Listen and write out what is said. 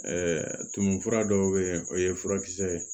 tumu fura dɔw bɛ yen o ye furakisɛ ye